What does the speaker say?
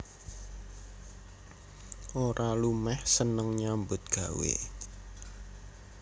Ora lumeh seneng nyambut gawé